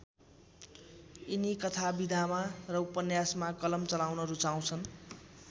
यिनी कथा विधामा र उपन्यासमा कलम चलाउन रूचाउँछन्।